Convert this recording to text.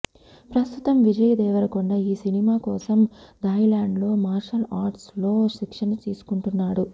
ప్రస్తుతం విజయ్ దేవరకొండ ఈ సినిమా కోసం థాయిలాండ్ లో మార్షల్ ఆర్ట్స్ లో శిక్షణ తీసుకుంటున్నాడు